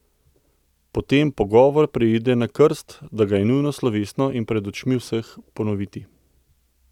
Potem pogovor preide na krst, da ga je nujno slovesno in pred očmi vseh ponoviti.